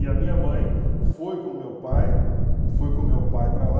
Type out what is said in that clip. E a minha mãe foi com o meu pai, foi com o meu pai para lá,